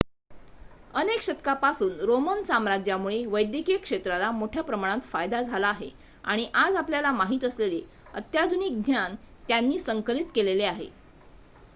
अनेक शतकांपासून रोमन साम्राज्यामुळे वैद्यकीय क्षेत्राला मोठ्या प्रमाणात फायदा झाला आहे आणि आज आपल्याला माहित असलेले अत्याधिक ज्ञान त्यांनी संकलित केलेले आहे